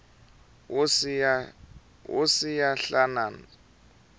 wo siya nhlana